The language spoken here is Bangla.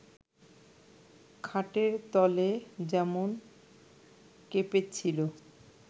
খাটের তলে যেমন কেঁপেছিল